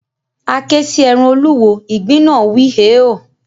A ké sí ẹran olúwo, ìgbín náà wíi, “hèéò”